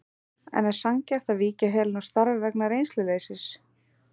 En er sanngjarnt að víkja Helenu úr starfi vegna reynsluleysis?